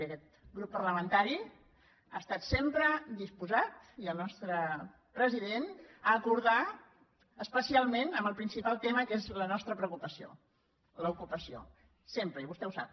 i aquest grup parlamentari ha estat sempre disposat i el nostre president a acordar especialment amb el principal tema que és la nostra preocupació l’ocupació sempre i vostè ho sap